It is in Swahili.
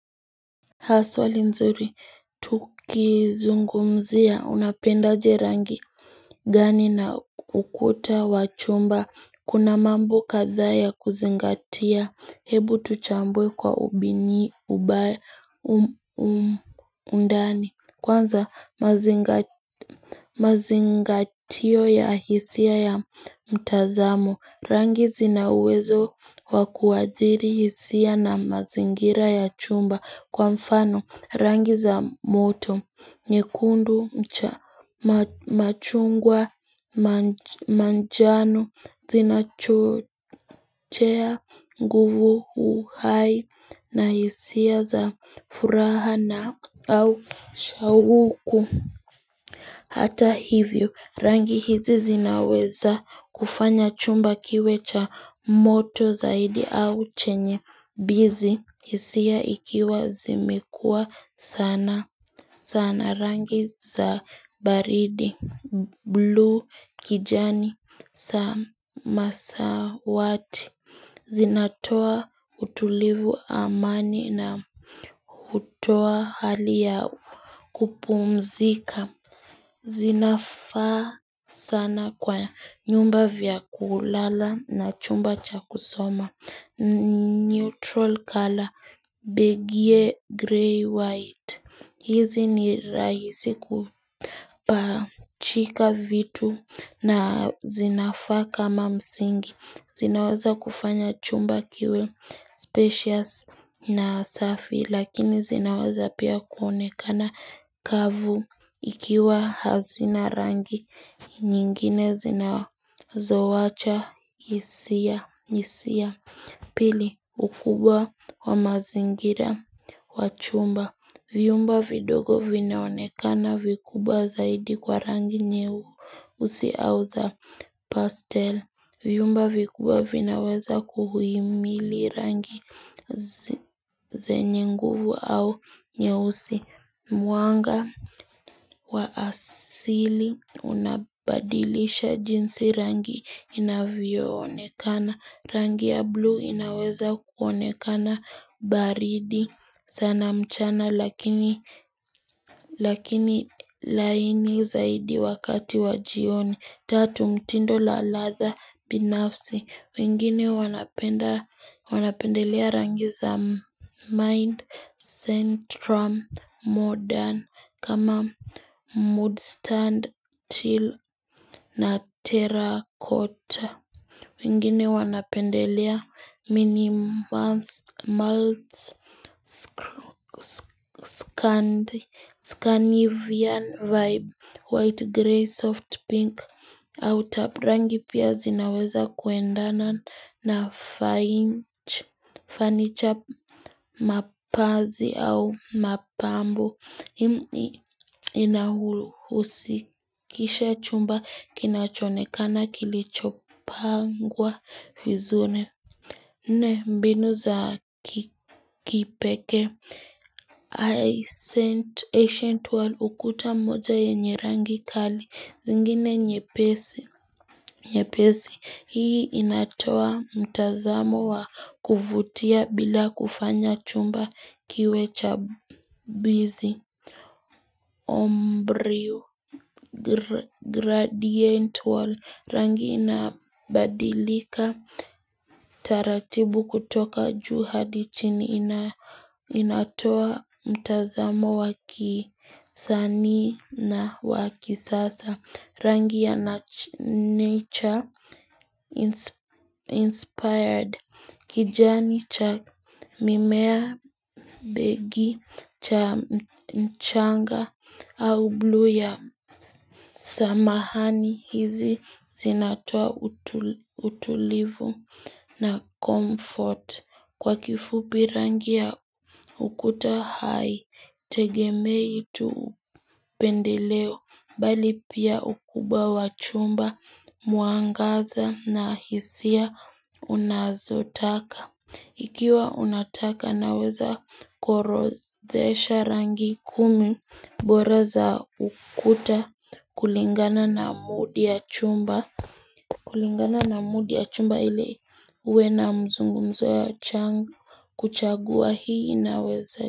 Ha, swali nzuri, tukizungumzia, unapenda aje rangi gani na ukuta wa chumba, kuna mambo kadhaa ya kuzingatia, hebu tuchambue kwa undani, kwanza mazingatio ya hisia ya mtazamo, rangi zinauwezo wa kuadhiri hisia na mazingira ya chumba kwa mfano. Rangi za moto, nyekundu, machungwa, manjano, zinachochea, nguvu, uhai, na hisia za furaha na au shawuku. Hata hivyo, rangi hizi zinaweza kufanya chumba kiwe cha moto zaidi au chenye bizi, hisia ikiwa zimekua sana. Sana rangi za baridi blue kijani samasawati Zinatoa utulivu amani na hutoa hali ya kupumzika zinafaa sana kwa nyumba vya kulala na chumba cha kusoma Neutral color beige grey white hizi ni rahisi kupachika vitu na zinafaa kama msingi. Zinaweza kufanya chumba kiwe spacious na safi. Lakini zinaweza pia kuonekana kavu ikiwa hazina rangi. Nyingine zinazoacha hisia. Pili ukubwa wa mazingira wa chumba. Vyumba vidogo vinaonekana vikubwa zaidi kwa rangi nyeusi au za pastel. Vyumba vikubwa vinaweza kuhimili rangi zenye nguvu au nyeusi mwanga wa asili unabadilisha jinsi rangi inavyoonekana. Rangi ya blue inaweza kuonekana baridi sana mchana lakini lakini laini zaidi wakati wa jioni Tatu mtindo la ladha binafsi wengine wanapenda wanapendelea rangi za mind central modern kama mood stand til na terracotta wengine wanapendelea mini malts, scannivian vibe, white grey, soft pink, au tabrangi pia zinaweza kuendana na fainch, fanicha mapazi au mapambo. Inahusikisha chumba kinachoonekana kilichopangwa vizune Nne mbinu za kipekee ancient world ukuta moja yenye rangi kali zingine nyepesi nyepesi hii inatoa mtazamo wa kuvutia bila kufanya chumba kiwe cha bizi Ombrio, gradient wall, rangi inabadilika, taratibu kutoka juu hadi chini inatoa mtazamo wa kisanii na wakisasa. Rangi ya nature inspired. Kijani cha mimea beige cha mchanga au blu ya samahani hizi zinatoa utulivu na comfort. Kwa kifupi rangi ya ukuta haitegemei tu upendeleo, bali pia ukubwa wa chumba, mwangaza na hisia unazotaka. Ikiwa unataka naweza kuorodhesha rangi kumi bora za ukuta kulingana na mudi ya chumba kulingana na mudi ya chumba ili uwe na mzungumzo ya kuchagua hii inaweza.